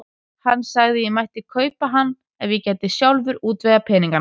Hann sagði að ég mætti kaupa hann ef ég gæti sjálfur útvegað peningana.